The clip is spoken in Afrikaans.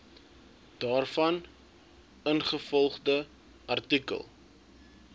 daarvan ingevolge artikel